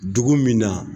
Dugu min na